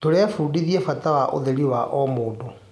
Tũrebundithia bata wa ũtheri wa o mũndũ.